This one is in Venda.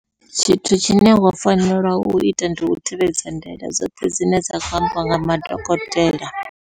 Tshithu tshine wa fanela uita ndi u tevhedza ndaela dzoṱhe dzine dza kho ambiwa nga madokotela.